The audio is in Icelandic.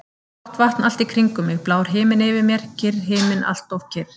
Blátt vatn allt í kringum mig, blár himinn yfir mér, kyrr himinn, alltof kyrr.